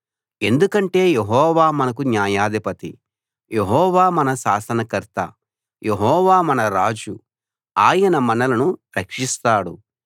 ఎందుకంటే యెహోవా మనకు న్యాయాధిపతి యెహోవా మన శాసనకర్త యెహోవా మన రాజు ఆయన మనలను రక్షిస్తాడు